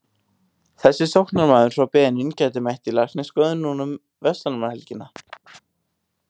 Þessi sóknarmaður frá Benín gæti mætt í læknisskoðun nú um verslunarmannahelgina.